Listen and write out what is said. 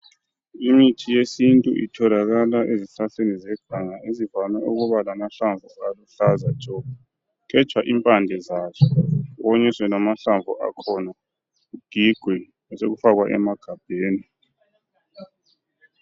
Imithi yesintu itholakala ezihlahleni zeganga ezivame ukuba lamahlamvu aluhlaza tshoko. Kugejwa impande zazo konyiswe lamahlamvu akhona kugigwe sekufakwa emagabheni.